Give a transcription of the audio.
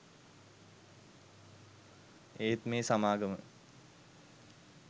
ඒත් මේ සමාගම